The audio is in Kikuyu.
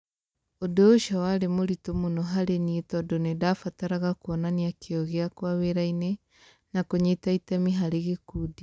Ũndũ ũcio warĩ mũritũ mũno harĩ niĩ tondũ nĩ ndabataraga kuonania kĩyo gĩakwa wĩra-inĩ na kũnyita itemi harĩ gĩkundi.